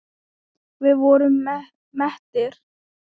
Við vorum mettir.